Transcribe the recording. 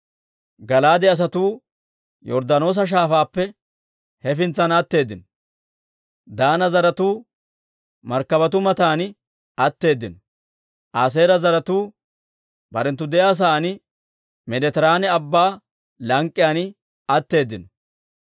Gala'aade asatuu Yorddaanoosa shaafaappe hefintsan atteeddino. Daana zaratuu markkabatuu matan atteeddino. Aaseera zaratuu barenttu de'iyaa sa'aan, Meeditiraane Abbaa lank'k'iyaan atteeddino.